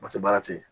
Paseke baara tɛ ye